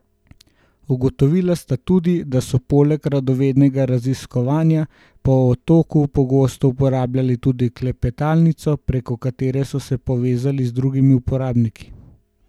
Ugotovila sta tudi, da so poleg radovednega raziskovanja po otoku pogosto uporabljali tudi klepetalnico, preko katere so se povezali z drugimi uporabniki.